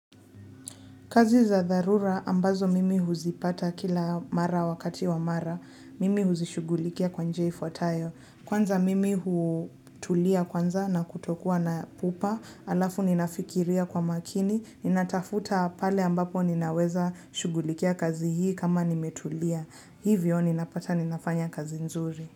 Kazi za dharura ambazo mimi huzipata kila mara wakati wa mara, mimi huzishugulikia kwa njia ifuatayo. Kwanza mimi hutulia kwanza na kutokua na pupa, alafu ninafikiria kwa makini, ninatafuta pale ambapo ninaweza shugulikia kazi hii kama nimetulia. Hivyo ninapata ninafanya kazi nzuri.